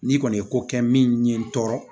N'i kɔni ye ko kɛ min ye n tɔɔrɔ